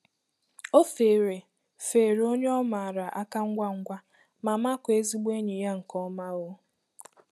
O feere feere onye ọ maara áká ngwa ngwa ma makụọ ezigbo enyi ya nke ọma. um